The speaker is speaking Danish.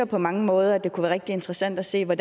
på mange måder kunne være rigtig interessant at se på